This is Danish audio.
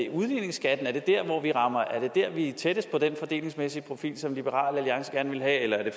udligningsskatten at vi er tættest på den fordelingsmæssige profil som liberal alliance gerne vil have eller er det